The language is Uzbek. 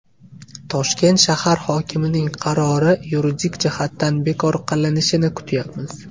Toshkent shahar hokimining qarori yuridik jihatdan bekor qilinishini kutyapmiz.